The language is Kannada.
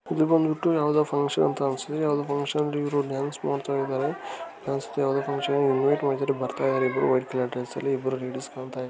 ಇದು ಬಂದ್ಬಿಟ್ಟು ಯಾವದೋ ಫ್ಹಂಕ್ಷನ್ ಅಂತ ಅನ್ನಿಸ್ತಿದೆ ಯಾವದೋ ಫ್ಹಂಕ್ಷನ್ ಅಲ್ಲಿ ಡಾನ್ಸ್ ಮಾಡ್ತಾಯಿದಾರೆ ಯಾವದೋ ಫ್ಹಂಕ್ಷ ನ್ಗೆ ವೈಟ್ ಕಲರ್ ಡ್ರೆಸ್ಸ ಲ್ಲಿ ಬರ್ತಾಯಿದ್ದಾರೆ ಇಬ್ಬರು ಲೇಡೀಸ್ ಕಾಣತಾ ಇದಾರೆ.